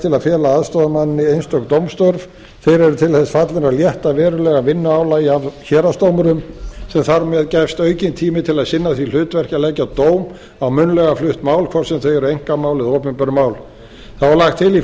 til að fela aðstoðarmanni einstök dómstörf þeir eru til þess fallnir að létta verulega vinnuálagi af héraðsdómurum sem þar með gefst aukinn tími til að sinna því hlutverki að leggja dóm á munnlega flutt mál hvort sem þau eru einkamál eða opinber mál þá er lagt til í